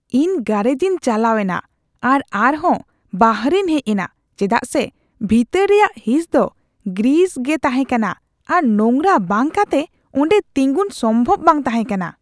ᱤᱧ ᱜᱟᱨᱮᱡ ᱤᱧ ᱪᱟᱞᱟᱣ ᱮᱱᱟ ᱟᱨ ᱟᱨᱦᱚᱸ ᱵᱟᱦᱨᱮᱧ ᱦᱮᱡ ᱮᱱᱟ ᱪᱮᱫᱟᱜ ᱥᱮ ᱵᱷᱤᱛᱟᱹᱨ ᱨᱮᱭᱟᱜ ᱦᱤᱸᱥ ᱫᱚ ᱜᱨᱤᱥ ᱜᱮ ᱛᱟᱦᱮᱸᱠᱟᱱᱟ ᱟᱨ ᱱᱚᱝᱨᱟ ᱵᱟᱝ ᱠᱟᱛᱮ ᱚᱸᱰᱮ ᱛᱤᱸᱜᱩᱱ ᱥᱚᱢᱵᱷᱚᱵ ᱵᱟᱝ ᱛᱟᱦᱮᱸ ᱠᱟᱱᱟ ᱾